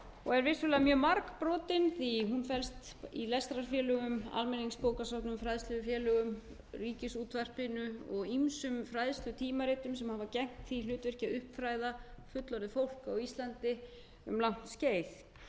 og er vissulega mjög margbrotin því að hún felst í lestrarfélögum almenningsbókasöfnum fræðslufélögum ríkisútvarpinu og ýmsum fræðslutímaritum sem hafa gegnt því hlutverk að uppfræða fullorðið fólk á íslandi um langt skeið